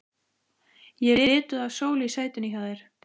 Ég er lituð af sól í sætinu hjá þér.